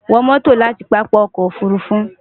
wo moto lati papa oko ofurufu